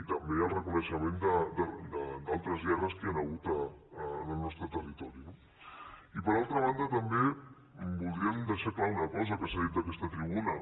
i també al reconeixement d’altres guerres que hi han hagut al nostre territori no i per altra banda també voldríem deixar clar una cosa que s’ha dit en aquesta tribuna